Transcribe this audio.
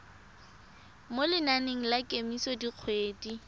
mo lenaneng la kemiso dikgwedi